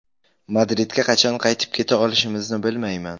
Madridga qachon qaytib keta olishimizni bilmayman.